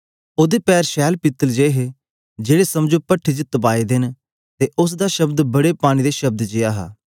ओदे पैर शैल पीतल जे हे जेड़े समझो पठ्ठी च तपाए दा ऐ ते उस्स दा शब्द बड़े पानी दे शब्द जेया हा